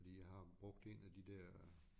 Fordi jeg har brugt en af de der